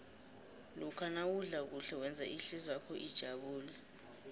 lokha nawudla kuhle wenza ihlizwakho ijabule